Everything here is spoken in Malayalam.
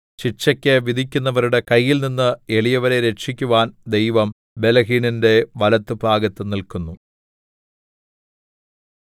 ശിക്ഷയ്ക്കു വിധിക്കുന്നവരുടെ കൈയിൽനിന്ന് എളിയവരെ രക്ഷിക്കുവാൻ ദൈവം ബലഹീനന്റെ വലത്തുഭാഗത്തു നില്ക്കുന്നു